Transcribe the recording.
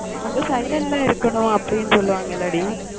அங்க silent ல இருக்கணும் அப்படினு சொல்லுவாங்க இல்லைடி?